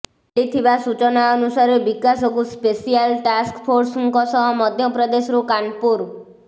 ମିଳିଥିବା ସୂଚନା ଅନୁସାରେ ବିକାଶକୁ ସ୍ପେସିଆଲ ଟାସ୍କ ଫୋର୍ସଙ୍କ ସହ ମଧ୍ୟପ୍ରଦେଶରୁ କାନପୁର